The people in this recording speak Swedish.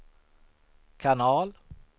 kanal